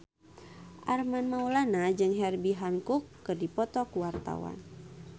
Armand Maulana jeung Herbie Hancock keur dipoto ku wartawan